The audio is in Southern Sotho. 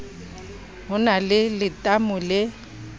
ho na le letamo le